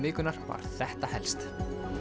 vikunnar var þetta helst